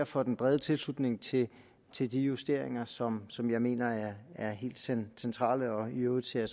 for den brede tilslutning til til de justeringer som som jeg mener er helt centrale i øvrigt ser